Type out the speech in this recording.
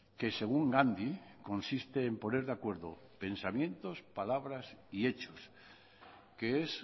que según gandhi consiste en poner de acuerdo pensamientos palabras y hechos que es